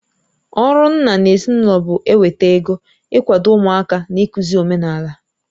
Ọrụ nna n'ezinụlọ bụ eweta ego, ị kwado ụmụaka na ịkụzi omenaala.